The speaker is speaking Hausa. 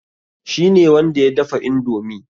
Shi ne wanda ya dafa indomi.